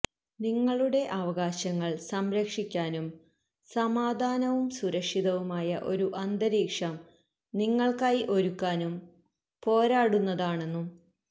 നിങ്ങളുടെ അവകാശങ്ങള് സംരക്ഷിക്കാനും സമാധാനവും സുരക്ഷിതവുമായ ഒരു അന്തരീക്ഷം നിങ്ങള്ക്കായി ഒരുക്കാനും പോരാടുന്നതാണെന്നും